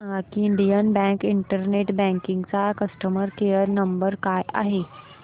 मला सांगा की इंडियन बँक इंटरनेट बँकिंग चा कस्टमर केयर नंबर काय आहे